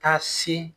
Taa se